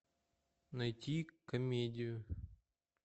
найти комедию